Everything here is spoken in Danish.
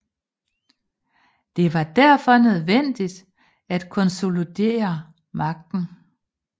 Det var derfor nødvendigt at konsolidere magten